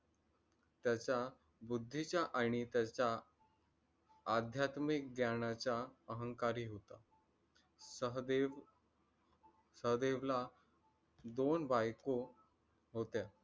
त्याचा बुद्धीचा आणि त्याचा आध्यात्मिक ज्ञानाचा अहंकारी होता. सहदेव, सहदेवला दोन बायको होत्या.